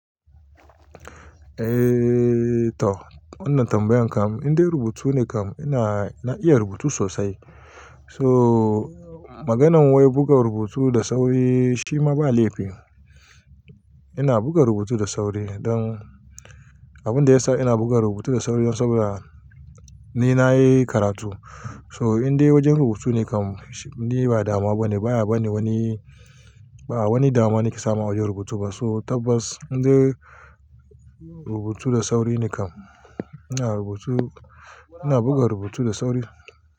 Eh tau, wannan tambayan kam, inda rubutu ne kam ina, na iya rubutu sosai. So maganan wai buga rubutu da sauri shi ma ba laifi. Ina buga rubutu da sauri don abin da ya sa ina buga rubutu da sauri don saboda ni na yi karatu. So inda wajen rubutu ne kam, ni ba dama ba ne, baya ba ni wani, ba a wani dama nake samu a wajen rubutu ba. So tabbas inda rubutu da sauri ne kam. Ina rubutu, ina buga rubutu da sauri.